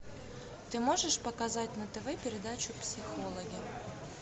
ты можешь показать на тв передачу психологи